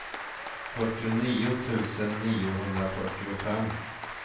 fyrtionio tusen niohundrafyrtiofem